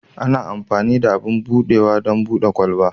Ana amfani da abin buɗawa don buɗe kwalabe.